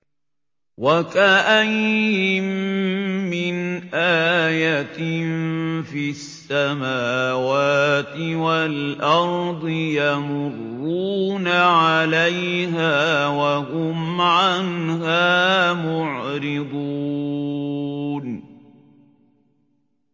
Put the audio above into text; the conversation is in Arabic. وَكَأَيِّن مِّنْ آيَةٍ فِي السَّمَاوَاتِ وَالْأَرْضِ يَمُرُّونَ عَلَيْهَا وَهُمْ عَنْهَا مُعْرِضُونَ